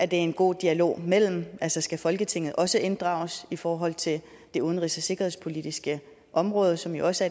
det en god dialog mellem altså skal folketinget også inddrages i forhold til det udenrigs og sikkerhedspolitiske område som jo også